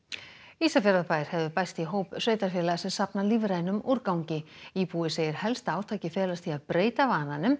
Ísafjarðarbær hefur bæst í hóp sveitarfélaga sem safna lífrænum úrgangi íbúi segir helsta átakið felast í að breyta vananum